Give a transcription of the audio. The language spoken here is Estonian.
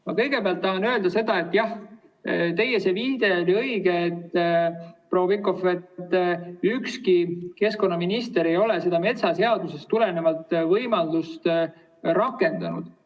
Ma kõigepealt tahan öelda, et jah, teie viide oli õige, proua Pikhof, ükski keskkonnaminister ei ole seda metsaseadusest tulenevat võimalust rakendanud.